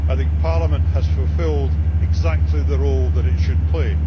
I think Parliament has fulfilled exactly the role that it should play.